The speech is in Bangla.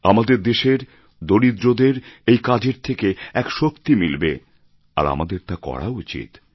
আমাদের দেশের দরিদ্রদের এই কাজের থেকে এক শক্তি মিলবে আর আমাদের তা করা উচিত